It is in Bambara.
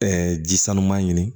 ji sanuman ɲini